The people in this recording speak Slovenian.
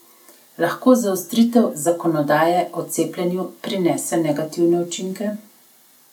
Lahko zaostritev zakonodaje o cepljenju prinese negativne učinke?